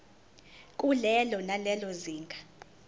kulelo nalelo zinga